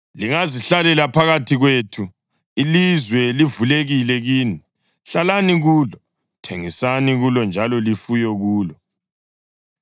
Lingazihlalela phakathi kwethu; ilizwe livulekile kini. Hlalani kulo, thengisani kulo njalo lifuye kulo.”